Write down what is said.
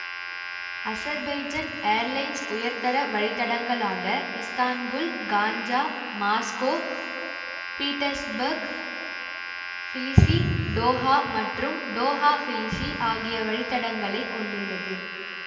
Azerbaijan airlines உயர்தர வழித்தடங்களாக Istanbul Ganja Moscow Petersburg Tbilisi Doha மற்றும் டோஹா ட்பிலிஸி ஆகிய வழித்தடங்களைக் கொண்டுள்ளது